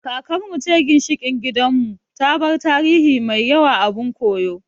Kakar mu ce ginshiƙin gidan mu, ta bar tarihi mai yawa abun koyo